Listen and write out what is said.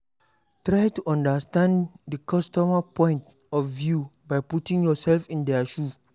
Try to understand di customer point of view by putting yourself for their shoe